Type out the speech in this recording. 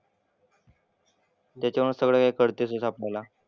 त्याच्यामुळेच सगळं हे कळतंच आहे आपल्याला.